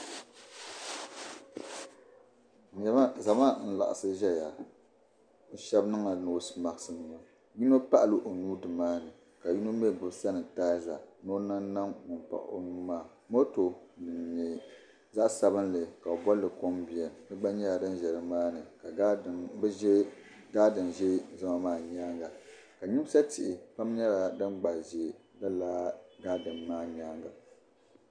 Zama n laɣisi. zaya, shabi niŋla nɔsemat nima yinɔ paɣila onuu dini maani ka yinɔ mi gbubi sana taiza, ni o niŋ niŋ ŋun paɣi onuu maa, mɔtɔ din nyɛ zaɣi sabinli ka bi boli kom biam di gba nyɛla din zɛ ni maani ka gaadin zɛ zama maa nyaaŋa, ka nyimsa tihi nyɛla din gba zɛ gaadin maa nyaaŋa.